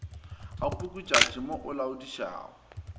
ga pukutšatši mo o laodišago